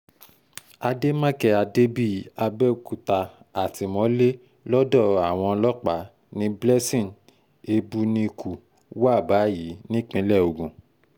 àdèmàkè adébíyì àbẹ̀òkúta àtìmọ́lé lọ́dọ̀ àwọn ọlọ́pàá ni blessing ebunikù wà báyìí nípìnlẹ̀ ogun